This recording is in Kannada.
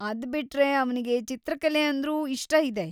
ಅದ್ಬಿಟ್ರೆ ಅವ್ನಿಗೆ ಚಿತ್ರಕಲೆ ಅಂದ್ರೂ ಇಷ್ಟ ಇದೆ.